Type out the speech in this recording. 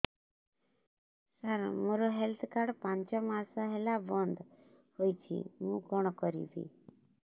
ସାର ମୋର health card ପାଞ୍ଚ ମାସ ହେଲା ବଂଦ ହୋଇଛି ମୁଁ କଣ କରିବି